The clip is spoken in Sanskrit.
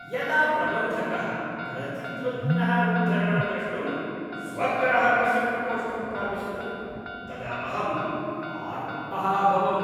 यदा प्रबन्धकः प्रतिद्वन्द्विनः उद्धरणं द्रष्टुं स्वग्राहकस्य प्रकोष्ठं प्राविशत् तदा अहं आर्तः अभवम्।